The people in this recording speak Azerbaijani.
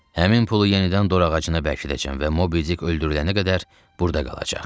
Həmin pulu yenidən dorağacına bərkidəcəm və Mobi Dick öldürülənə qədər burda qalacaq.